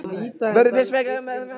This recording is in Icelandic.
Verður fyrst fjallað um fyrra atriðið.